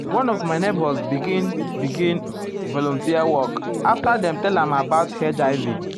one of my neighbors begin um begin um volunteer work after dem tell am about hiv.